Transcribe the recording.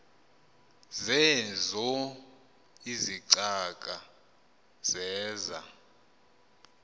zeezo izicaka zeza